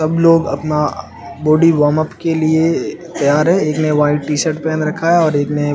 हम लोग अपना बॉडी वार्म अप के लिए तैयार है इसने वाइट टीशर्ट पहन रखा है और एक ने --